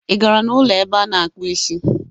Ị gara n'ụlọ ebe a na-akpụ isi?